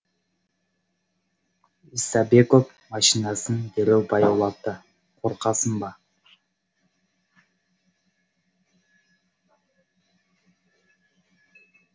исабеков машинасын дереу баяулатты қорқасың ба